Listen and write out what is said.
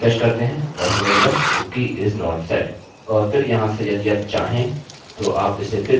चलिए रिफ्रेशrefresh करते हैं और हमें मिला cookie is not set